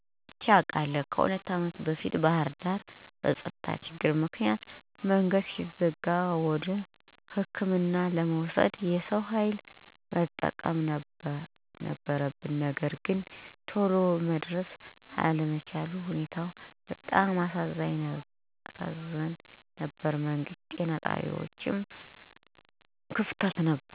አይቼ አውቃለሁ. ከሁለት ዓመት በፊት ባህርዳር ላይ በፀጥታ ችግር ምክንያት መንገድ ስለተዘጋ ወደ ሕክምና ለመውሰድ የሰው ኃይል መጠቀም ነበረብን ነገር ግን ቶሎ መድረስ አልቻልንም. ሁኔታውም በጣም ያሳዝን ነበር. መንግስት ጤና ጣቢያዎችን እና ሆስፒታሎችን በየአካባቢው ማስፋፋት ቢችል ችግሩን መቀነስ ይቻላል.